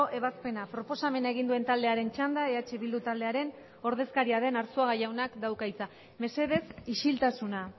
ebazpena proposamena egin duen taldearen txanda eh bildu taldearen ordezkaria den arzuaga jaunak dauka hitza mesedez isiltasuna